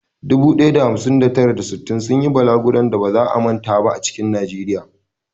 Dubu ɗaya da hamsin da tara, da sittin sun yi balaguron da ba za a manta ba a cikin Najeriya.